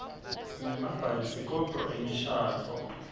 sinemabhayisikobho emishadvo